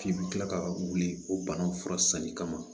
F'i bɛ kila ka wuli o bana fura sanni kama